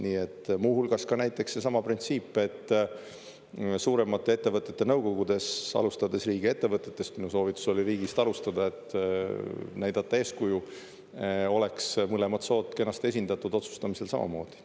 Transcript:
Nii et muu hulgas ka näiteks seesama printsiip, et suuremate ettevõtete nõukogudes, alustades riigiettevõtetest – minu soovitus oli riigist alustada, et näidata eeskuju –, oleks mõlemad sood kenasti esindatud otsustamisel samamoodi.